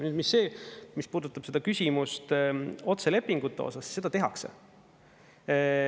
Nüüd see, mis puudutab seda küsimust otselepingute osas – seda tehakse.